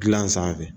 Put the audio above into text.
Gilan sanfɛ